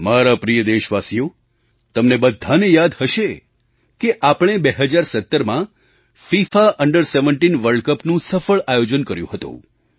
મારા પ્રિય દેશવાસીઓ તમને બધાને યાદ હશે કે આપણે 2017માં ફિફા અંડર 17 વર્લ્ડ Cupનું સફળ આયોજન કર્યું હતું